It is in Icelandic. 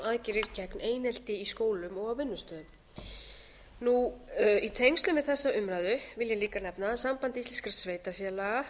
gegn einelti í skólum og á vinnustöðum í tengslum við þessa umræðu vil ég líka nefna að samband íslenskra sveitarfélaga